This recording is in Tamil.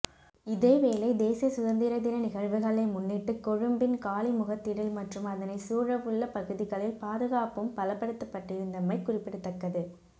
இதேவேளை தேசிய சுதந்திர தின நிகழ்வுகளை முன்னிட்டுகொழும்பின் காலி முகத்திடல் மற்றும் அதனை சூழவுள்ள பகுதிகளில் பாதுகாப்பும்பலப்படுத்தப்பட்டிருந்தமை குறிப்பிடத்தக்கது